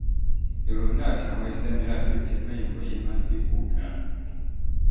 ìrònú àti àwọn iṣẹ́ mìíràn tó jẹ mọ́ ìmòye máa ń dín kù gan-an